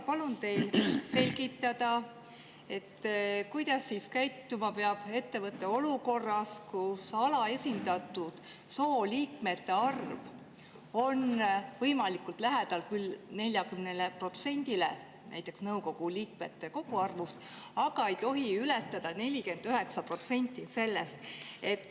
Palun teil selgitada, kuidas peab käituma ettevõte olukorras, kus alaesindatud soost liikmete arv peab olema võimalikult lähedal 40%‑le nõukogu liikmete koguarvust, aga ei tohi ületada 49% sellest.